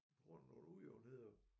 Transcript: På grund af nogle ujævnheder